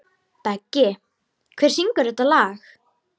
Beggi, hver syngur þetta lag?